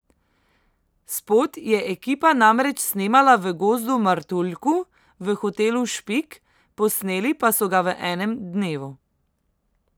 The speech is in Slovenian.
Spot je ekipa namreč snemala v Gozdu Martuljku v hotelu Špik, posneli pa so ga v enem dnevu.